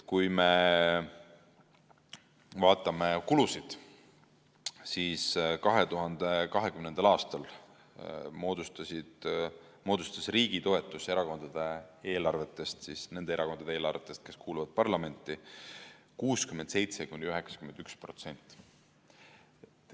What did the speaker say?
Kui me vaatame kulusid, siis 2020. aastal moodustas riigi toetus erakondade eelarvetest – nende erakondade eelarvetest, kes kuuluvad parlamenti – 67–91%.